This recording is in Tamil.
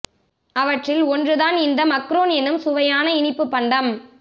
அவற்றில் ஒன்று தான் இந்த மக்ரூன் என்னும் சுவையான இனிப்பு பண்டம்